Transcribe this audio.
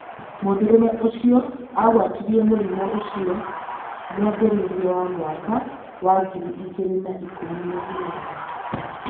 Mũndũrume ũcio agwatirio mũrĩmu ũcio mwambĩrĩrio wa mwaka wa ngiri igĩrĩ na ikũmi na inyanya